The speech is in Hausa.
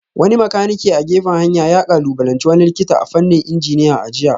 Wani makanike a gefen hanya ya kalubalanci wani likita a fannin injiniya a jiya